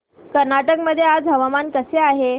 कर्नाटक मध्ये आज हवामान कसे आहे